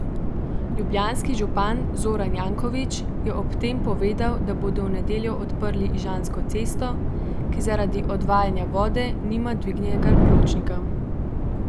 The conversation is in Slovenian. Ljubljanski župan Zoran Janković je ob tem povedal, da bodo v nedeljo odprli Ižansko cesto, ki zaradi odvajanja vode nima dvignjenega pločnika.